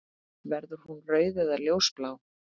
Verður hún rauð eða ljósblá?